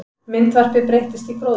Myndvarpi breyttist í gróðurhús